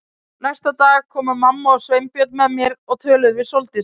Næsta dag komu mamma og Sveinbjörn með mér og töluðu við Sóldísi.